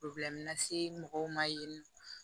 lase mɔgɔw ma yen nɔ